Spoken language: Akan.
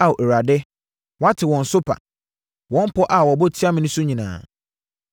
Ao Awurade, woate wɔn sopa, wɔn pɔ a wɔbɔ tia me no nyinaa,